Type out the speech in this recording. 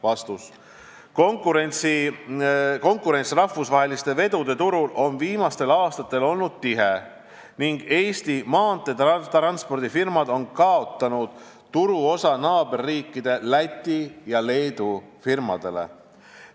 " Viimastel aastatel on konkurents rahvusvaheliste vedude turul tihe olnud ning Eesti maanteetranspordifirmad on kaotanud turuosa naaberriikide Läti ja Leedu firmadele.